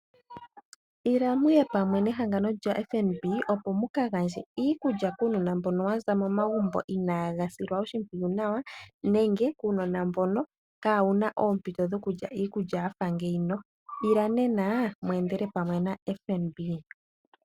Ila mu ye pamwe nehangano lya FNB opo mu ka gandje iikulya kuunona mboka wa za momagumbo inaaga silwa oshimpwiyu nawa nenge kuunona mbono kaawu na oompinto dhokulya iikulya ya fa ngeyi. Ila nena mu endele pamwe na FNB.